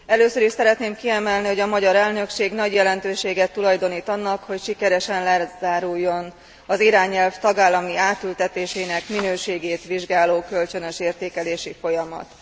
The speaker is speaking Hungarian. Először is szeretném kiemelni, hogy a magyar elnökség nagy jelentőséget tulajdonít annak, hogy sikeresen lezáruljon az irányelv tagállami átültetésének minőségét vizsgáló kölcsönös értékelési folyamat.